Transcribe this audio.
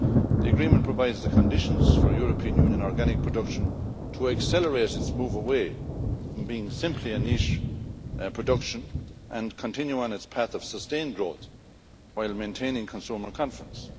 The agreement provides the conditions for European Union organic production to accelerate its move away from being simply a niche production and continue on its path of sustained growth while maintaining consumer confidence.